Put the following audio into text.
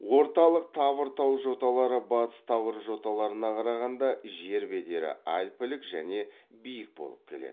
орталық тавр тау жоталары батыс тавр жоталарына қарағанда жер бедері альпілік және биік болып келеді